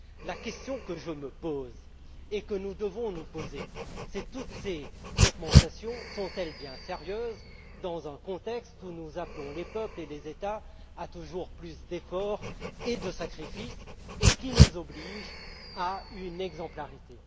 La question que je me pose et que nous devons nous poser est de savoir si toutes ces augmentations sont bien sérieuses dans un contexte où nous appelons les peuples et les États à toujours plus d'efforts et de sacrifices, ce qui nous oblige à une exemplarité.